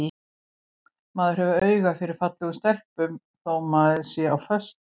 Maður hefur auga fyrir fallegum stelpum þótt maður sé á föstu.